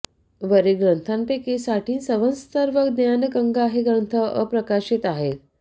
वरील ग्रंथापैकी साठी संवत्सर व ज्ञान गंगा हे ग्रंथ अप्रकाशीत आहेत